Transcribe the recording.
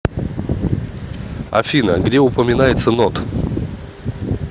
афина где упоминается нод